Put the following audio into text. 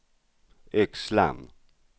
Yxlan